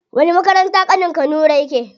Wani makaranta ƙanin ka nura yake?